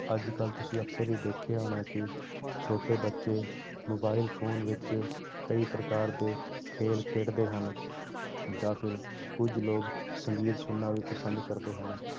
ਅੱਜ ਕੱਲ੍ਹ ਤੁਸੀਂ ਅਕਸਰ ਹੀ ਦੇਖਿਆ ਹੋਣਾ ਕਿ ਛੋਟੇ ਬੱਚੇ mobile phone ਵਿੱਚ ਕਈ ਪ੍ਰਕਾਰ ਦੇ ਖੇਲ ਖੇਡਦੇ ਹਨ, ਜਾਂ ਫਿਰ ਕੁੱਝ ਲੋਕ ਸੰਗੀਤ ਸੁਣਨਾ ਵੀ ਪਸੰਦ ਕਰਦੇ ਹਨ,